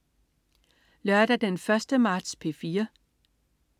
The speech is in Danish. Lørdag den 1. marts - P4: